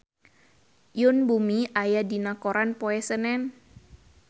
Yoon Bomi aya dina koran poe Senen